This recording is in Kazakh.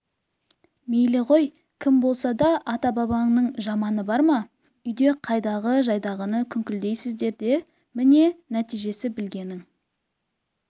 мейлі ғой кім болса да ата-бабаның жаманы бар ма үйде қайдағы-жайдағыны күңкілдейсіздер де міне нәтижесі білгенің